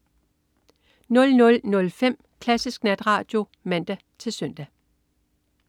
00.05 Klassisk Natradio (man-søn)